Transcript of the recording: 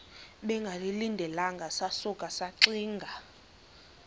bengalindelanga sasuka saxinga